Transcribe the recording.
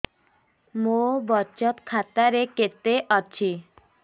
ମୋ ବଚତ ଖାତା ରେ କେତେ ଅଛି